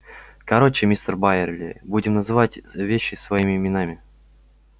короче мистер байерли будем называть вещи своими именами